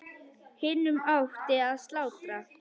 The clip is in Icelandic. Hinum átti að slátra.